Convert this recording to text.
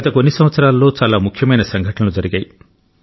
గత కొన్ని సంవత్సరాల్లో చాలా ముఖ్యమైన సంఘటనలు జరిగాయి